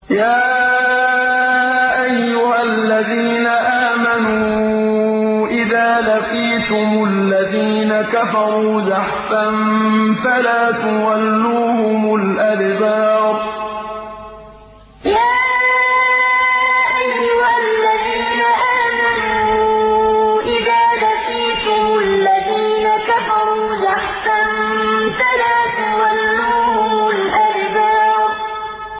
يَا أَيُّهَا الَّذِينَ آمَنُوا إِذَا لَقِيتُمُ الَّذِينَ كَفَرُوا زَحْفًا فَلَا تُوَلُّوهُمُ الْأَدْبَارَ يَا أَيُّهَا الَّذِينَ آمَنُوا إِذَا لَقِيتُمُ الَّذِينَ كَفَرُوا زَحْفًا فَلَا تُوَلُّوهُمُ الْأَدْبَارَ